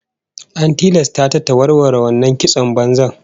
An tilasta ta ta warware wannan kiston banzan